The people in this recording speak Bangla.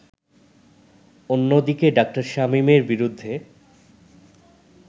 অন্যদিকে ডা. শামীমের বিরুদ্ধে